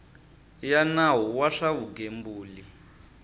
ya nawu wa swa vugembuli